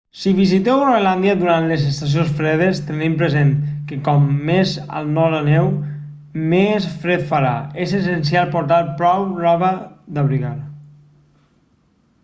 si visiteu groenlàndia durant les estacions fredes tenint present que com més al nord aneu més fred farà és essencial portar prou roba d'abrigar